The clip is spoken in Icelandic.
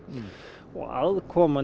og aðkoman